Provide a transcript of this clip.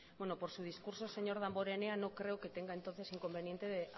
por su discurso señor damborenea no creo que tenga entonces inconveniente de